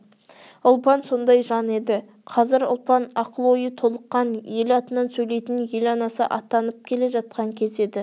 ұлпан сондай жан еді қазір ұлпан ақыл-ойы толыққан ел атынан сөйлейтін ел анасы атанып келе жатқан кезі еді